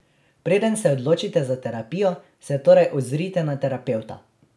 Preden se odločite za terapijo, se torej ozrite na terapevta.